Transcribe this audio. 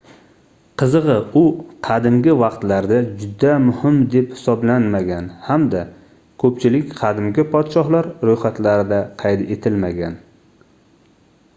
qizigʻi u qadimgi vaqtlarda juda muhim deb hisoblanmagan hamda koʻpchilik qadimgi podshohlar roʻyxatlarida qayd etilmagan